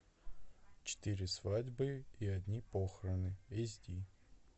четыре свадьбы и одни похороны эс ди